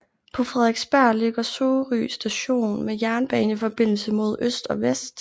På Frederiksberg ligger Sorø station med jernbaneforbindelse mod øst og vest